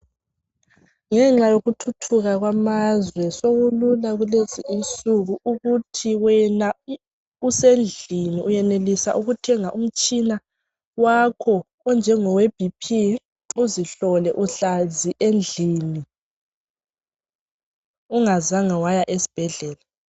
Ngenxa yokuthuthuka kwamazwe sokulula kulezi insuku ukuthi wena usendlini wenelisa ukuthenga umtshina wakho onjengowe B.P uzihlole uhlezi endlini ungazange waya esibhedlela.